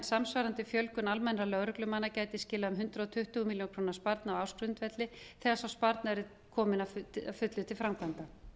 samsvarandi fjölgun almennra lögreglumanna gæti skilað um hundrað tuttugu milljónir króna sparnaði á ársgrundvelli þegar sá sparnaður er kominn að fullu til framkvæmda